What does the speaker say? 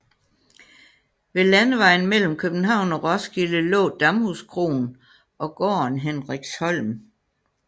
Ved landevejen mellem København og Roskilde lå Damhuskroen og gården Hendriksholm